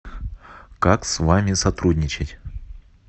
как с вами сотрудничать